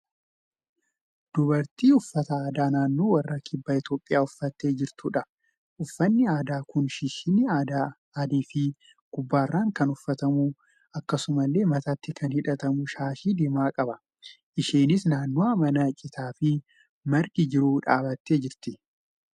Dubartii uffata aadaa naannoo warra kibba Itiyoophiyaa uffattee jirtudha. Uffanni aadaa kun shishinnii adii fi gubbaarran kan uffatamu akkasumallee mataatti kan hidhatamu shaashii diimaa qaba. Isheenis naannawaa mana citaafi margi jiru dhaabattee jirti.